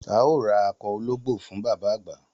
A óò ra akọ ológbò fún bàbá àgbà